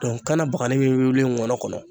kanna bagani wuli nkɔnɔ kɔnɔ